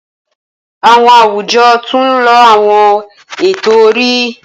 Awọn awujọ tun nlo awọn eto-ori.